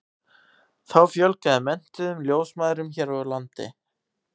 þá fjölgaði menntuðum ljósmæðrum hér á landi